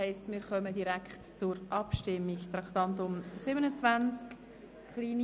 Wir kommen somit zur Abstimmung, über Traktandum 27: